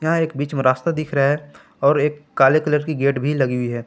यहां एक बीच में रास्ता दिख रहा है और एक काले कलर की गेट भी लगी है।